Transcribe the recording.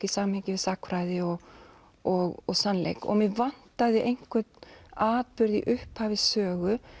í samhengi við sagnfræði og og og sannleik mig vantaði einhvern atburð í upphafi sögu